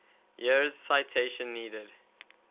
years citation needed